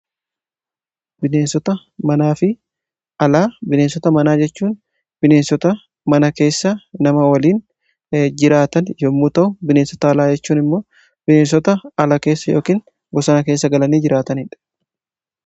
bineensota manaa fi alaa, bineensota manaa jechuun bineensota mana keessa nama waliin jiraatan yommuu ta'u bineensota alaa jechuun immoo bineensota alaa keessa yookiin bosana keessa galanii jiraataniidha.